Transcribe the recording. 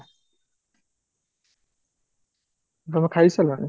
ଟ୍ମେଖାଇ ସାରିଲାଣି?